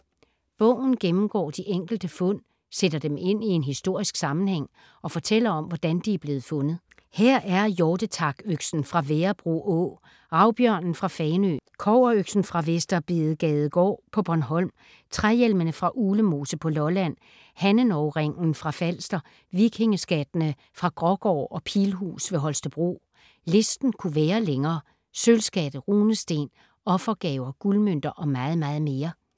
Bogen gennemgår de enkelte fund, sætter dem ind i en historisk sammenhæng og fortæller om, hvordan de er blevet fundet. Her er hjortetakøksen fra Værebro Å, Ravbjørnen fra Fanø, Kobberøksen fra Vester Bedegadegård på Bornholm, Træhjelmene fra Uglemose på Lolland, Hannenov-ringen fra Falster, Vikingeskattene fra Grågård og Pilhus ved Holstebro. Listen kunne være længere: Sølvskatte, runesten, offergaver, guldmønter og meget, meget mere.